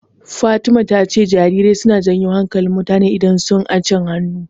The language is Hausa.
Fatima ta ce jarirai suna janyo hankalin mutane idan sun acin hannu.